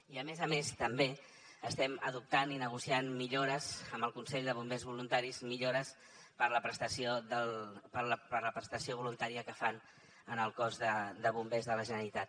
i a més a més també estem adoptant i negociant millores amb el consell de bombers voluntaris millores per a la prestació voluntària que fan en el cos de bombers de la generalitat